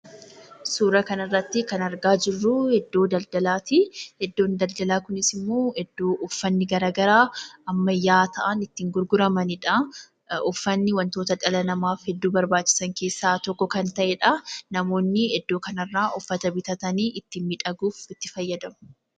Suuraa kanarratti kan argaa jirru iddoo daldalaatii. Iddoon daldalaa kunis immoo iddoo uffanni garaagaraa ammayyaa'aa ta'an itti gurguramaniidhaa. Uffanni wantoota dhala namaaf hedduu barbaachisan keessaa tokko kan ta'eedhaa. Namoonni iddoo kana irraa uffata bitatanii ittiin miidhaguuf itti fayyadamu.